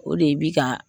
O de bi ka